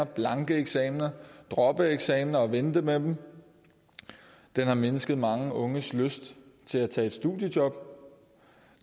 blanke eksamener droppe eksamener og vente med dem den har mindsket mange unges lyst til at tage et studiejob